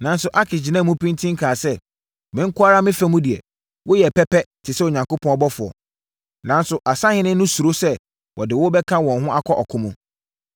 Nanso, Akis gyinaa mu pintinn kaa sɛ, “Me nko ara me fa mu deɛ, woyɛ pɛpɛ te sɛ Onyankopɔn ɔbɔfoɔ. Nanso, asahene no suro sɛ wɔde wo bɛka wɔn ho wɔ ɔko mu.